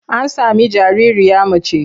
An sami jaririya mace.